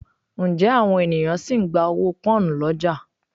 Ǹjẹ́ àwọn ènìyàn sì ń gba owó Pọ́nhùn lọ́jà?